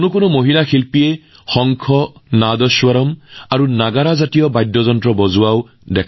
বহু মহিলা শিল্পীয়ে শংকা নদাস্বৰম নাগদা আদি ভাৰতীয় বাদ্যযন্ত্ৰ বজাই আছিল